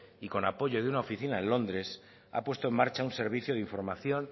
y con apoyo de una oficina en londres ha puesto en marcha un servicio de información